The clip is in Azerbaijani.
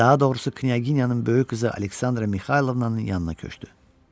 Daha doğrusu knyaginyanın böyük qızı Aleksandra Mixaylovnanın yanına köçdü.